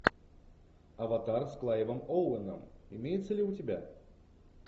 аватар с клайвом оуэном имеется ли у тебя